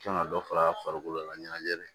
Kan ka dɔ far'a farikolo la ɲanajɛ